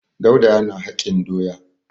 Dauda yana hakin doya.